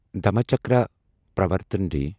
Dhammachakra Pravartan day